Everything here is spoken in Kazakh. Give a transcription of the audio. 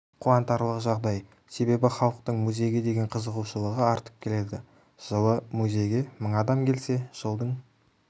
қуантарлық жағдай себебі халықтың музейге деген қызығушылығы артып келеді жылы музейге мың адам келсе жылдың